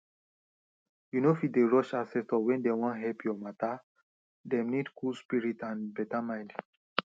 you no fit dey rush ancestor when dem wan help your matter dem need cool spirit and beta mind